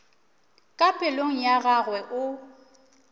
ka pelong ya gagwe o